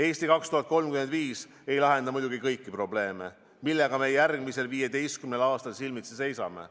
"Eesti 2035" ei lahenda muidugi kõiki probleeme, millega me järgmisel 15 aastal silmitsi seisame.